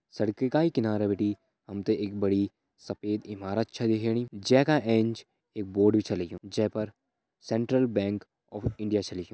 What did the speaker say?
सड़की का ही किनारा बिटि हम तें एक बड़ी सफेद इमारत छ दिख्येंणी जे का एंच एक बोर्ड भी छ लग्युं जे पर सेंट्रल बैंक ऑफ़ इंडिया छ लिख्युं।